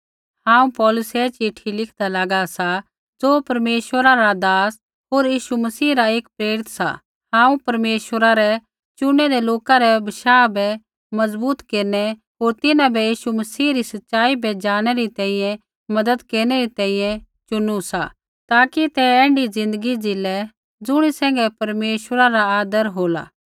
हांऊँ पौलुस ऐ चिट्ठी लिखदा लागा सा ज़ो परमेश्वरा रा दास होर यीशु मसीह रा एक प्रेरित सा हांऊँ परमेश्वरा रै चुनेदै लोका रै बशाह बै मजबूत केरनै होर तिन्हां बै यीशु मसीह री सच़ाई बै जाणनै री तैंईंयैं मज़त केरनै री तैंईंयैं चुनु सा ताकि ते ऐण्ढी ज़िन्दगी ज़ीलै ज़ुणी सैंघै परमेश्वरा रा आदर हो